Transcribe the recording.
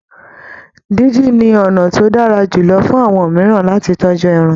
Díndín ni ọ̀nà tó dára jùlọ fún àwọn mìíràn lati tọ́jú ẹran